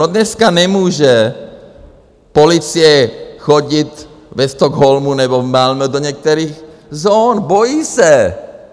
No dneska nemůže policie chodit ve Stockholmu nebo v Malmö do některých zón, bojí se.